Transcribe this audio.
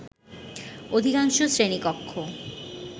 অধিকাংশ শ্রেণী কক্ষ